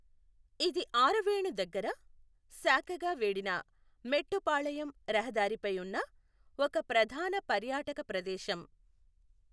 ఇది ఆరవేణు దగ్గర శాఖగా వీడిన మెట్టుపాళయం రహదారిపై ఉన్న ఒక ప్రధాన పర్యాటక ప్రదేశం.